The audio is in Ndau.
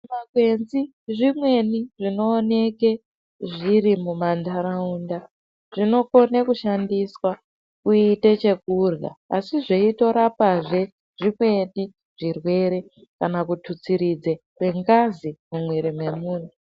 Zvimakwenzi zvimweni zvinooneka zviri mumandaraunda zvinokona kushandiswa kuita chekurya asi zveitorapazve zvimweni zvirwere kana kututsiridza kwengazi mumwiri mwemuntu.